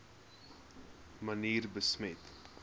manier besmet